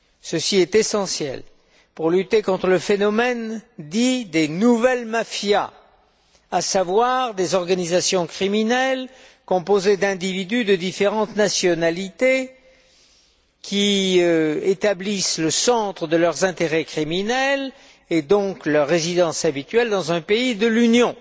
Cela est essentiel pour lutter contre le phénomène dit des nouvelles mafias, à savoir des organisations criminelles composées d'individus de différentes nationalités, qui établissent le centre de leurs intérêts criminels, et donc leur résidence habituelle, dans un pays de l'Union.